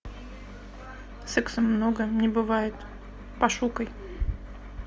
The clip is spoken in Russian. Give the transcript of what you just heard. секса много не бывает пошукай